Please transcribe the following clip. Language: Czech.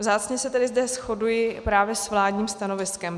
Vzácně se zde tedy shoduji právě s vládním stanoviskem.